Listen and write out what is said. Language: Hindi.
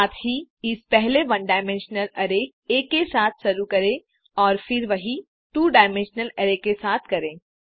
साथ ही इसे पहले वन डायमेंशनल अरै आ के साथ शुरू करें और फिर वही टू डायमेंशनल अरै के साथ करें